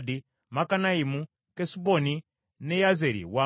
Kesuboni ne Yazeri wamu n’amalundiro byabyo.